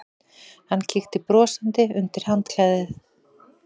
Hann kíkti brosandi undir handklæðið.